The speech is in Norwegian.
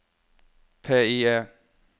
PIE